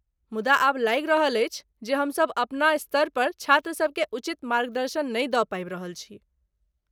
मुदा आब लागि रहल अछि जे हमसब अपना स्तरपर छात्रसबकेँ उचित मार्गदर्शन नहि दऽ पाबि रहल छी।